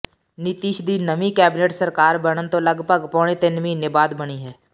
ਨਿਤੀਸ਼ ਦੀ ਨਵੀਂ ਕੈਬਿਨਟ ਸਰਕਾਰ ਬਨਣ ਤੋਂ ਲਗਭਗ ਪੌਣੇ ਤਿੰਨ ਮਹੀਨੇ ਬਾਅਦ ਬਣੀ ਹੈ